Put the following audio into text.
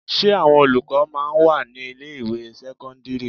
Ṣé àwọn olùkọ́ máa ń wà ní ilé ìwé sẹ́kọ́ńdírì?